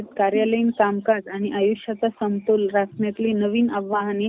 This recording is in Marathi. कार्यालयीन कामकाज आणि आयुष्याचा समतोल राखण्याची नवी आव्हाने ,